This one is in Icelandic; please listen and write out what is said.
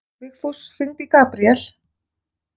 Vigfús, hringdu í Gabriel.